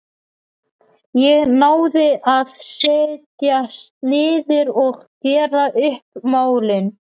Ég náði að setjast niður og gera upp málin.